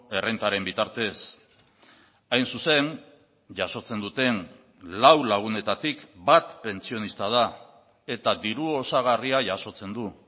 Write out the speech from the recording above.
errentaren bitartez hain zuzen jasotzen duten lau lagunetatik bat pentsionista da eta diru osagarria jasotzen du